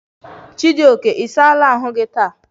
Chijoke, i saala ahu gi taa?